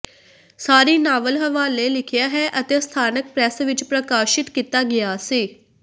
ਸਾਰੀ novel ਹਵਾਲੇ ਲਿਖਿਆ ਹੈ ਅਤੇ ਸਥਾਨਕ ਪ੍ਰੈਸ ਵਿੱਚ ਪ੍ਰਕਾਸ਼ਿਤ ਕੀਤਾ ਗਿਆ ਸੀ